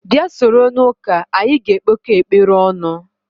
Bịa soro n'ụka anyị ga-ekpekọ ekpere ọnụ